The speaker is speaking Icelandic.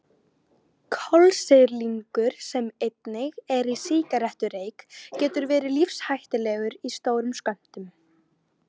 Kolsýrlingur sem einnig er í sígarettureyk getur verið lífshættulegur í stórum skömmtum.